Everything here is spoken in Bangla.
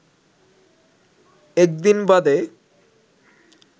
একদিন বাদে